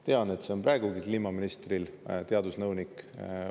Tean, et see teadusnõunik on kliimaministril praegugi.